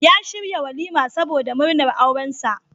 Ya shirya walima saboda murnar aurensa.